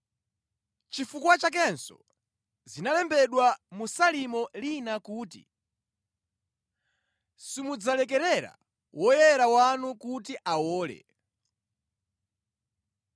Nʼchifukwa chakenso zinalembedwa mu Salimo lina kuti, “ ‘Simudzalekerera woyera wanu kuti awole.’